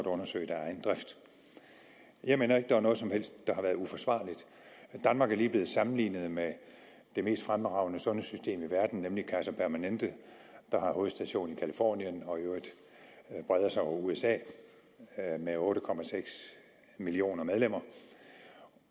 undersøge det jeg mener ikke at der er noget som helst der har været uforsvarligt danmark er lige blevet sammenlignet med det mest fremragende sundhedssystem i verden nemlig kaiser permanente der har hovedstation i californien og i øvrigt breder sig over usa med otte millioner medlemmer